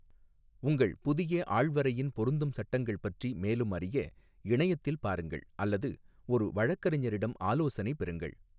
உங்கள் புதிய ஆள்வரையின் பொருந்தும் சட்டங்கள் பற்றி மேலும் அறிய, இணையத்தில் பாருங்கள் அல்லது ஒரு வழக்கறிஞரிடம் ஆலோசனை பெறுங்கள்.